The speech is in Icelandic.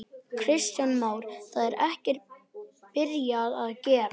Kristján Már: Það er ekkert byrjað að gera?